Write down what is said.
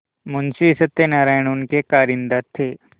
मुंशी सत्यनारायण उनके कारिंदा थे